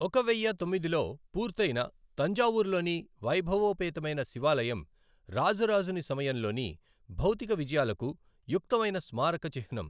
ఒక వెయ్య తొమ్మిదిలో పూర్తయిన తంజావూరులోని వైభవోపేతమైన శివాలయం రాజరాజుని సమయంలోని భౌతిక విజయాలకు యుక్తమైన స్మారక చిహ్నం.